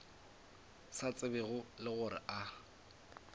sa tsebego le gore a